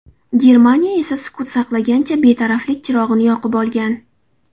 Germaniya esa sukut saqlagancha betaraflik chirog‘ini yoqib olgan.